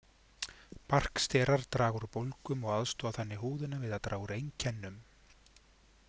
Barksterar draga úr bólgum og aðstoða þannig húðina við að draga úr einkennum.